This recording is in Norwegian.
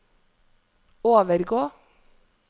overgå